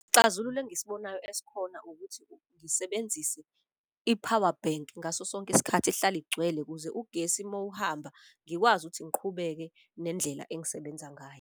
Isixazululo engisibonayo esikhona ukuthi ngisebenzise i-power bank ngaso sonke isikhathi ihlale igcwele. Ukuze ugesi mawuhamba ngikwazi ukuthi ngiqhubeke nendlela engisebenza ngayo.